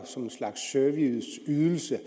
som en slags serviceydelse